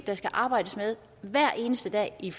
der skal arbejdes med hver eneste dag i